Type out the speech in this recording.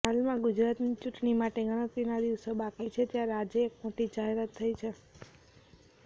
હાલમાં ગુજરાતની ચૂંટણી માટે ગણતરીના દિવસો બાકી છે ત્યારે આજે એક મોટી જાહેરાત થઈ છે